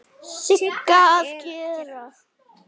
Sigga að gera?